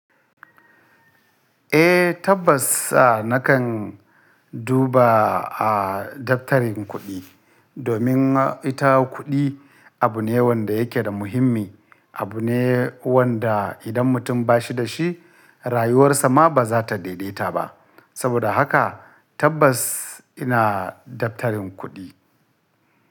Eh tabbas a nakan duba a daftarin kuɗi domin ita kuɗi abu ne wanda yake da muhimmi, abu ne wanda idan mutum ba shi da shi rayuwarsa ma ba za ta daidaita ba. Saboda haka tabbas ina daftarin kuɗi.